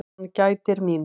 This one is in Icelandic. Hann gætir mín.